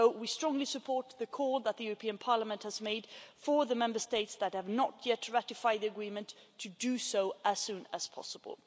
So we strongly support the call that Parliament has made for the Member States that have not yet ratified the Agreements to do so as soon as possible.